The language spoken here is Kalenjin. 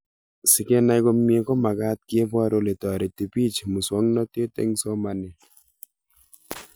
Sikenai komie komagat kepor ole tareti pich muswognatet eng' somanet